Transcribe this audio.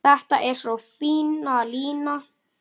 Þetta er svo fín lína.